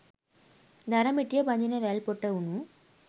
දර මිටිය බඳින වැල් පොට වුණු